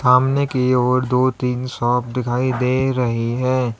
सामने की ओर दो तीन शॉप दिखाई दे रही है।